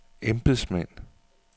embedsmænd